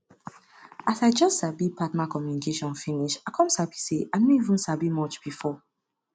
as i just sabi partner communication finish i come sabi say i no even sabi much before